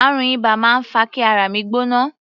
Àrùn iba máa ń fa kí ara mi gbóná.